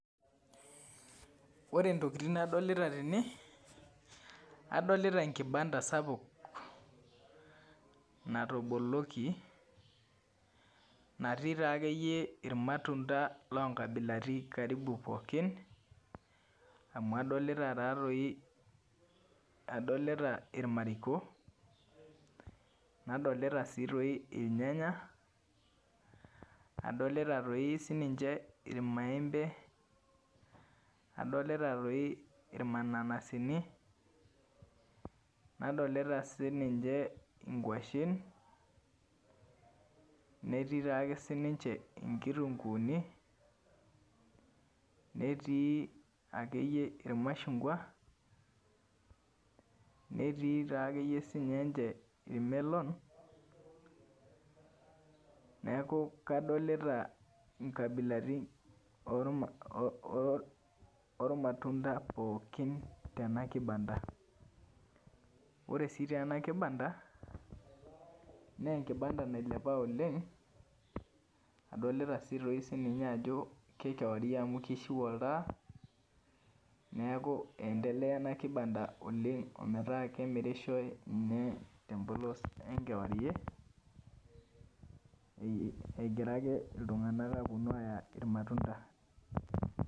Ore ntokitin nadolita tene adolita enkibanda sapuk natoboloki natii taakeyie irmatunda loonkabilaitin karibu pooki amu adolita taatoi, adolita irmariko nadolita irnayanya nadolita toi sininche irmaembe adolita toi irmananasini nadolita sinince nkuashen, netii toi ake sininche nkitunkuuni netii akeyie irmashungwa netii ake siinche irmelon neeku kadolita nkabilaitin ormatunda pookin tena kibanda ore sii toi ena kibanda naa e kibanda nailepa oleng' adolita sii toi ajo ke kewarie amu kishu oltaa neeku iendelea ena kibanda oleng' metaa kemirishoi inye tempolos enkewarie egira ake iltung'anak aaponu aaya irmatunda.